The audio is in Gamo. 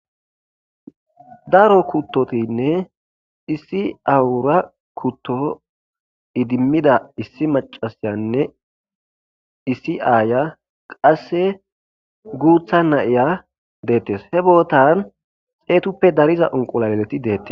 daro kuttotinne issi awura kutto idimmida issi macasiyanne issi aaya qasse guutha nayiya deettes he bootan xeetuppe dariza onqulalet deettes